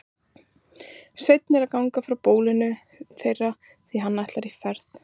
Sveinn er að ganga frá bólinu þeirra því hann ætlar í ferð.